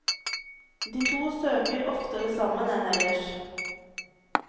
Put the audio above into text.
De to søker oftere sammen enn ellers.